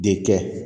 De kɛ